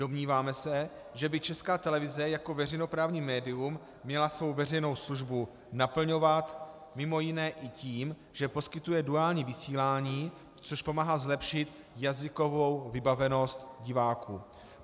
Domníváme se, že by Česká televize jako veřejnoprávní médium měla svou veřejnou službu naplňovat mimo jiné i tím, že poskytuje duální vysílání, což pomáhá zlepšit jazykovou vybavenost diváků.